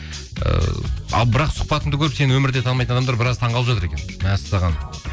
ыыы ал бірақ сұхбатыңды көріп сені өмірде танымайтын адамдар біраз таңғалып жатыр екен мәссаған